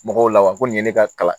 Mɔgɔw la wa ko nin ye ne ka kalan